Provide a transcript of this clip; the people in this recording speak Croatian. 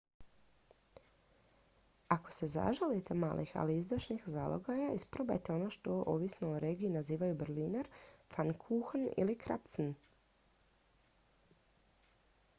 ako se zaželite malih ali izdašnih zalogaja isprobajte ono što ovisno o regiji nazivaju berliner pfannkuchen ili krapfen